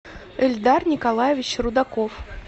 эльдар николаевич рудаков